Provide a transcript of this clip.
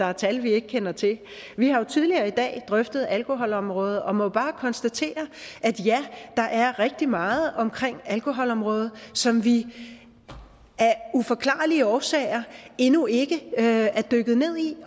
er tal vi ikke kender til vi har tidligere i dag drøftet alkoholområdet bør og må bare konstatere at ja der er rigtig meget omkring alkoholområdet som vi af uforklarlige årsager endnu ikke er dykket ned i